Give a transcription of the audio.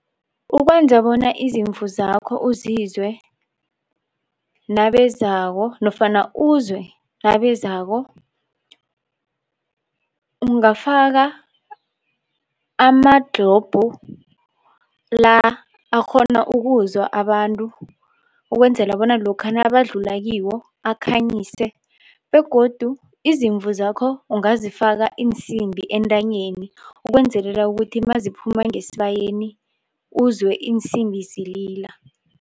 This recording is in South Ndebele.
Ukwenza bona izimvu zakho uzizwe nabezako nofana uzwe nabezako, ungafaka ama-globe la akghona ukuzwa abantu ukwenzela bona lokha nabadlula kiwo akhanyise begodu izimvu zakho ungazifaka iinsimbi entanyeni ukwenzelela ukuthi maziphuma ngesibayeni uzwe iinsimbi zilila.